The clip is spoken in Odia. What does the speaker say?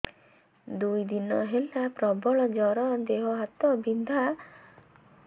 ଦୁଇ ଦିନ ହେଲା ପ୍ରବଳ ଜର ଦେହ ହାତ ବିନ୍ଧା